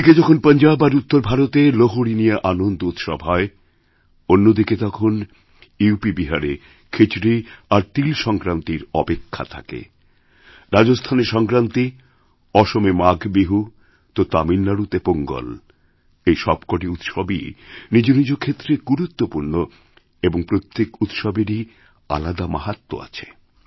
একদিকে যখন পঞ্জাব আর উত্তর ভারতে লোহড়ী নিয়েআনন্দ উৎসব হয় অন্যদিকে তখন ইউপিবিহারে খিচড়ি আর তিল সংক্রান্তির অপেক্ষাথাকে রাজস্থানে সংক্রান্তি অসমে মাঘ বিহু তামিলনাড়ুতে পোঙ্গল এই সবকটিউৎসবই নিজ নিজ ক্ষেত্রে গুরুত্বপূর্ণ এবং প্রত্যেক উৎসবেরই আলাদা মাহাত্ম্য আছে